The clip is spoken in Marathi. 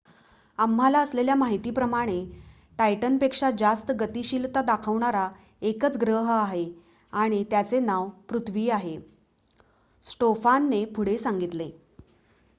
आम्हाला असलेल्या माहितीप्रमाणे टायटनपेक्षा जास्त गतिशीलता दाखवणारा एकच ग्रह आहे आणि त्याचे नाव पृथ्वी आहे स्टोफानने पुढे सांगितले